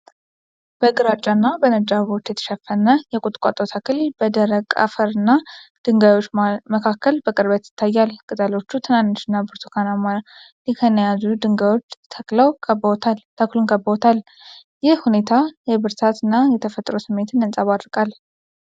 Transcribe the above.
በግራጫና በነጭ አበቦች የተሸፈነ የቁጥቋጦ ተክል በደረቅ አፈር እና ድንጋዮች መካከል በቅርበት ይታያል። ቅጠሎቹ ትንንሽ እና ብርቱካንማ ሊከን የያዙ ድንጋዮች ተክሉን ከበውታል። ይህ ሁኔታ የብርታት እና የተፈጥሮ ስሜትን ያንጸባርቃል።